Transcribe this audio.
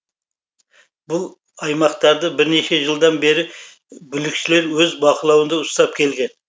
бұл аймақтарды бірнеше жылдан бері бүлікшілер өз бақылауында ұстап келген